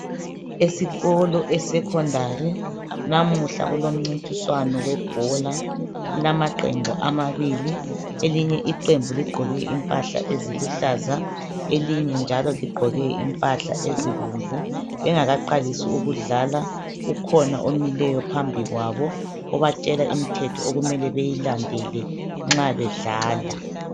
Esikolo esecondary namuhla kulommcintiswano webhola .kulamaqembu amabili elinye iqembu ligqoke impahla eziluhlaza elinye njalo ligqoke impahla ezibomvu. Bengakaqalisi ukudlala ukhona omileyo phambi kwabo obatshela imithetho okumele beyilandele nxa bedlala .